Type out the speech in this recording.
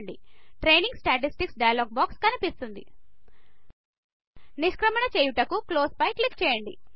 training statistics dialog box కనిపిస్తుంది నిష్క్రమణ చేయుటకు క్లోజ్ క్లిక్ చేయండి